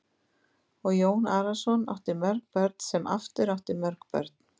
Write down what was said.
Og Jón Arason átti mörg börn sem aftur áttu mörg börn.